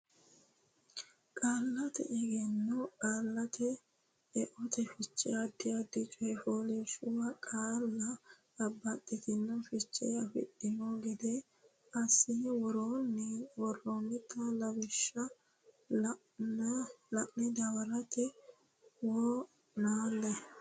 Qaallate Egenno Qaallate Eote Fiche addi addi coy fooliishshuwa qaalla babbaxxitino fiche afidhanno gede assine worroonnita lawishsha la ine dawarate wo naalle.